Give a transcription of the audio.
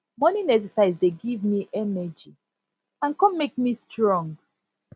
morning exercise dey give me energy and come make me strong